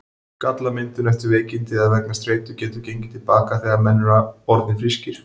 Skallamyndun eftir veikindi eða vegna streitu getur gengið til baka þegar menn eru orðnir frískir.